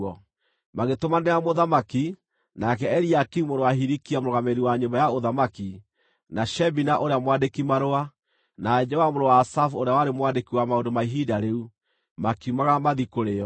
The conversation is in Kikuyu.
Magĩtũmanĩra mũthamaki; nake Eliakimu mũrũ wa Hilikia mũrũgamĩrĩri wa nyũmba ya ũthamaki, na Shebina ũrĩa mwandĩki-marũa, na Joa mũrũ wa Asafu ũrĩa warĩ mwandĩki wa maũndũ ma ihinda rĩu, makiumagara mathiĩ kũrĩ o.